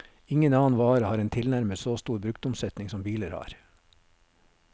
Ingen annen vare har en tilnærmet så stor bruktomsetning som biler har.